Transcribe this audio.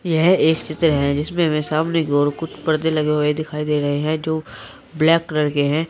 यह एक चित्र है जिसमें हमें सामने की ओर कुछ पर्दे लगे हुए दिखाई दे रहे हैं जो ब्लैक कलर के हैं।